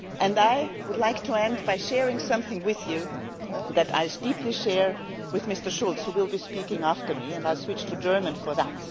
I would like to end by sharing something with you that I deeply share with Mr Schulz, who will be speaking after me, so I will switch to German for